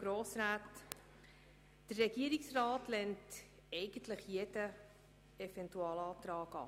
Der Regierungsrat lehnt jeden Eventualantrag ab.